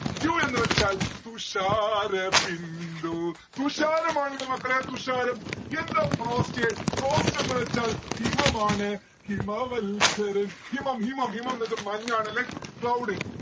dew എന്ന് വച്ചാൽ തുഷാരബിന്ദു തുഷാരമാണ് ട്ടാ മക്കളെ തുഷാരം യെന്ത frost എന്ന് വച്ചാൽ ഹിമമാണ്. ഹിമമത്സര ഹിമം ഹിമം ഹിമം ന്ന്‌ വെച്ച മഞ്ഞാണെന്നല്ലേ cloud